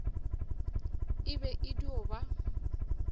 e be e dio ba